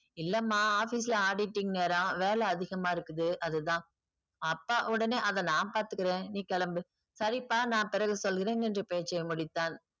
இல்லம்மா office ல auditing நேரம் வேல அதிகமா இருக்குது அதுதான் அப்பா உடனே அத நா பாத்துக்குறேன் நீ கெளம்பு சரிப்பா நா பிறகு சொல்கிறேன் என்று பேசி முடித்தான்